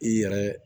I yɛrɛ